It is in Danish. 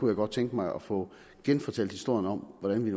jeg godt tænke mig at få genfortalt historien om hvordan vi